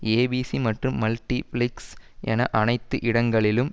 ABC மற்றும் Multiplex என அனைத்து இடங்களிலும்